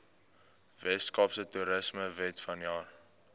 weskaapse toerismewet vanjaar